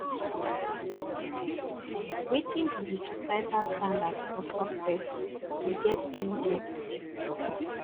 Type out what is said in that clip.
wetin be di societal standard for success you get anything to say